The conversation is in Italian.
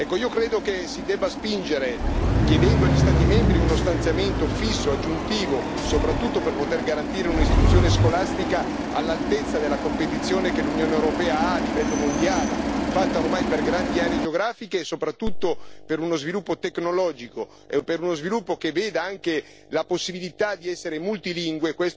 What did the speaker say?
Io credo che si debba spingere chiedendo agli Stati membri uno stanziamento fisso aggiuntivo, soprattutto per poter garantire un'istruzione scolastica all'altezza della competizione che l'Unione europea ha a livello mondiale, fatta ormai per grandi aree geografiche, soprattutto per uno sviluppo tecnologico e per uno sviluppo che veda anche la possibilità di essere multilingue.